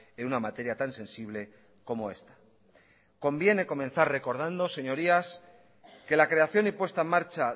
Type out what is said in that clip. en una materia tan sensible como esta conviene comenzar recordando señorías que la creación y puesta en marcha